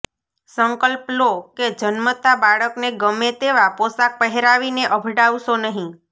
સંકલ્પ લો કે જન્મતા બાળકને ગમે તેવા પોશાક પહેરાવીને અભડાવશો નહીં